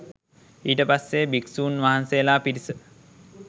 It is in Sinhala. ඊට පස්සෙ භික්ෂුන් වහන්සේලා පිරිස